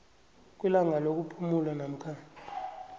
kwelanga lokuphumula namkha